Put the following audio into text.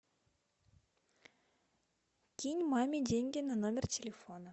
кинь маме деньги на номер телефона